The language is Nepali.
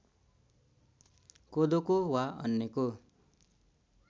कोदोको वा अन्यको